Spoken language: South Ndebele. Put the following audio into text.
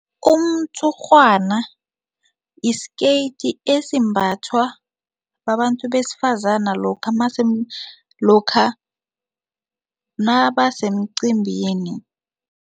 Umtshurhwana yi-skirt esimbathwa babantu besifazana lokha lokha nabasemcimbini.